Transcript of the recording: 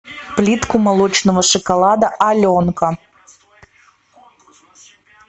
плитку молочного шоколада аленка